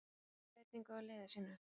Blikar gera breytingu á liði sínu.